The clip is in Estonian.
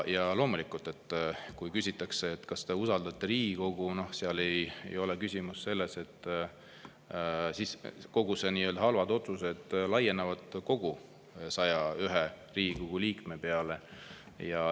Ja loomulikult, kui küsitakse, kas te usaldate Riigikogu, siis kõik need nii-öelda halvad otsused laienevad kõigi 101 Riigikogu liikme peale.